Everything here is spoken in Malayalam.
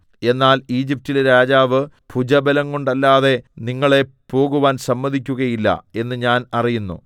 എന്നാൽ ഈജിപ്റ്റിലെ രാജാവ് ഭുജബലംകൊണ്ടല്ലാതെ നിങ്ങളെ പോകുവാൻ സമ്മതിക്കുകയില്ല എന്ന് ഞാൻ അറിയുന്നു